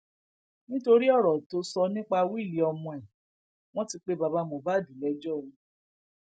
nítorí ọrọ tó sọ nípa wíìlì ọmọ ẹ wọn ti pe bàbá mohbad lẹjọ o